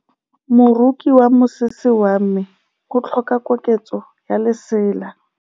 Moroki wa mosese wa me o tlhoka koketsô ya lesela.